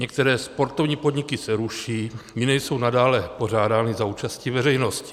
Některé sportovní podniky se ruší, jiné jsou nadále pořádány za účasti veřejnosti.